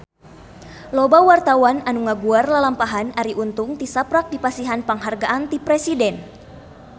Loba wartawan anu ngaguar lalampahan Arie Untung tisaprak dipasihan panghargaan ti Presiden